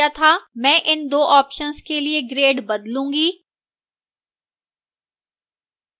मैं इन 2 options के लिए grade बदलूंगी